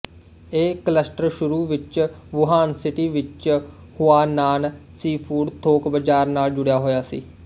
ਇਹ ਕਲੱਸਟਰ ਸ਼ੁਰੂ ਵਿੱਚ ਵੁਹਾਨ ਸਿਟੀ ਵਿੱਚ ਹੁਆਨਾਨ ਸੀਫੂਡ ਥੋਕ ਬਾਜ਼ਾਰ ਨਾਲ ਜੁੜਿਆ ਹੋਇਆ ਸੀ